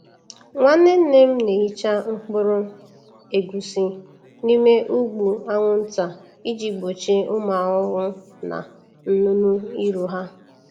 Nwanne nne m na-ehicha mkpụrụ egusi n’ime ụgbụ anwụnta iji gbochie ụmụ ahụhụ na nnụnụ iru ha.